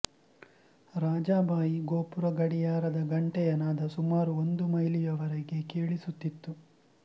ರಾಜಾಬಾಯಿ ಗೋಪುರ ಗಡಿಯಾರ ದ ಘಂಟೆಯನಾದ ಸುಮಾರು ಒಂದು ಮೈಲಿಯವರೆಗೆ ಕೇಳಿಸುತ್ತಿತ್ತು